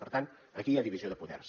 per tant aquí hi ha divisió de poders